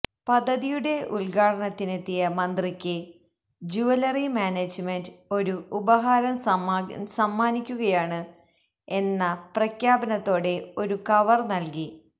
പദ്ധതിയുടെ ഉദ്ഘാടനത്തിനെത്തിയ മന്ത്രിക്ക് ജൂവലറി മാനേജ്മെന്റ് ഒരു ഉപഹാരം സമ്മാനിക്കുകയാണ് എന്ന പ്രഖ്യാപനത്തോടെ ഒരു കവര് നല്കി